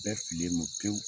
Bɛɛ fililen don pewu.